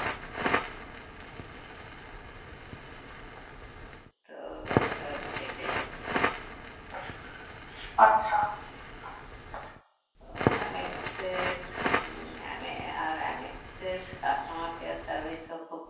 তো ব্যাপারটা হচ্ছে সেইটাই আরকি আহ MX এর হম আর MX এর customer care service ও খুব